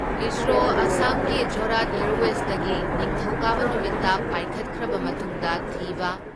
ISRO ꯑꯁꯥꯝꯒꯤ ꯖꯣꯔꯍꯥꯠ ꯑꯦꯌꯥꯔꯋꯦꯖꯗꯒꯤ ꯅꯤꯡꯊꯧꯀꯥꯕ ꯅꯨꯃꯤꯠꯇ ꯄꯥꯏꯈꯠꯈ꯭ꯔꯕ ꯃꯇꯨꯡꯗ ꯊꯤꯕ